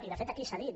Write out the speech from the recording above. i de fet aquí s’ha dit